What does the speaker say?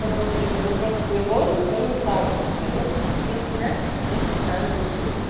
возле напротив него никто не ставит машину вот сейчас приехал да тоже поставила мыться